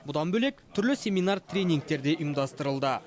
бұдан бөлек түрлі семинар тренингтер де ұйымдастырылды